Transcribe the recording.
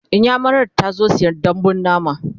inyamurar tazo ta saya dambun nama